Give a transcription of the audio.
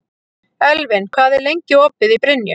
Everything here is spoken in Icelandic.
Elvin, hvað er lengi opið í Brynju?